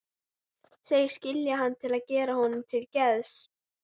Segist skilja hann til að gera honum til geðs.